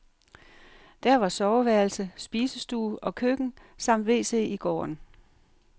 Der var soveværelse, spisestue og køkken samt wc i gården.